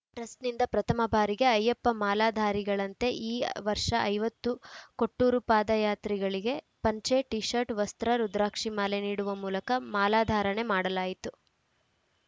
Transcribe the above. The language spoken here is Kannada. ಟ್ರಸ್ಟ್‌ನಿಂದ ಪ್ರಥಮ ಬಾರಿಗೆ ಅಯ್ಯಪ್ಪ ಮಾಲಾಧಾರಿಗಳಂತೆ ಈ ವರ್ಷ ಐವತ್ತು ಕೊಟ್ಟೂರು ಪಾದಯಾತ್ರಿಗಳಿಗೆ ಪಂಚೆ ಟೀ ಶರ್ಟ್‌ ವಸ್ತ್ರ ರುದ್ರಾಕ್ಷಿ ಮಾಲೆ ನೀಡುವ ಮೂಲಕ ಮಾಲಾಧಾರಣೆ ಮಾಡಲಾಯಿತು